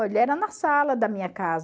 Olha, era na sala da minha casa.